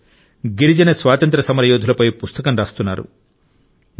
కొందరు గిరిజన స్వాతంత్ర్య సమరయోధులపై పుస్తకం రాస్తున్నారు